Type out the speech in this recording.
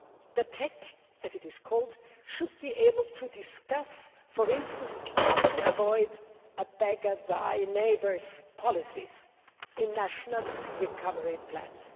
The TEC as it is called should be able to discuss, for instance, how to avoid a beggar thy neighbour policy in national recovery plans.